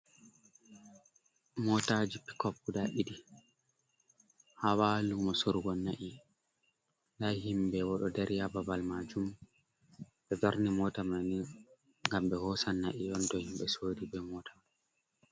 Motaji picop guda didi hawalu mo sorugo nai, himbe do dari ha babal majum be darni mota mani gam be hosan na’i yonto himbe sori be mota man.